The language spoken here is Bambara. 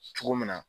Cogo min na